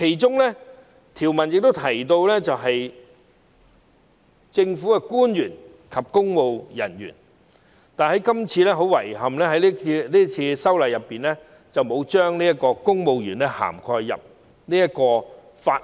該條文亦提到政府官員及公務人員，但遺憾地，是次修例工作並沒有將公務員納入《條例草案》的涵蓋範圍。